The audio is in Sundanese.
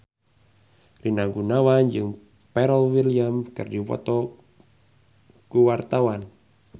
Rina Gunawan jeung Pharrell Williams keur dipoto ku wartawan